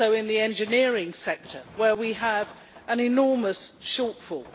it is also in the engineering sector where we have an enormous shortfall.